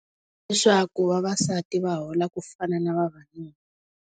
Leswaku vavasati va hola ku fana na vavanuna.